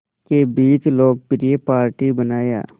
के बीच लोकप्रिय पार्टी बनाया